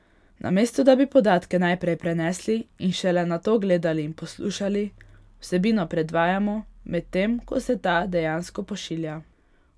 Namesto da bi podatke najprej prenesli in šele nato gledali ali poslušali, vsebino predvajamo, medtem ko se ta dejansko pošilja.